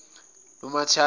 lukamthaniya